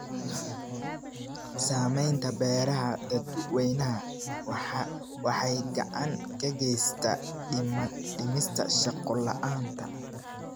Samaynta beeraha dadweynaha waxay gacan ka geysataa dhimista shaqo la'aanta.